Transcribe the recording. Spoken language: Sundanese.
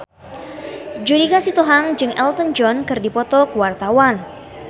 Judika Sitohang jeung Elton John keur dipoto ku wartawan